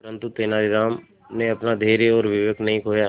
परंतु तेलानी राम ने अपना धैर्य और विवेक नहीं खोया